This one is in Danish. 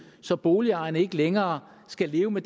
så boligejerne ikke længere skal leve med